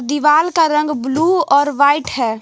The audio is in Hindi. दीवाल का रंग ब्लू और वाइट है।